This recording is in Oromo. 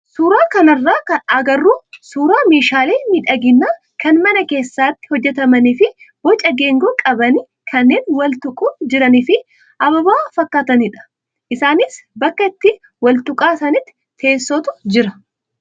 Suuraa kanarraa kan agarru suuraa meeshaalee miidhaginaa kan mana keessatti hojjatamanii fi boca geengoo qabanii kanneen wal tuquun jiranii fi ababaa fakkaatanidha. Isaanis bakka itti wal tuqa sanatti teessootu jira.